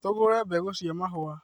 Tũgũre mbegũcia mahũa